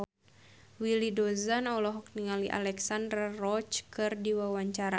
Willy Dozan olohok ningali Alexandra Roach keur diwawancara